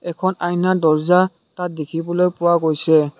এখন আইনা দৰ্জা তাত দেখিবলৈ পোৱা গৈছে।